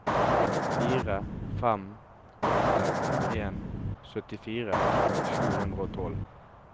fire fem åtte en syttifire sju hundre og tolv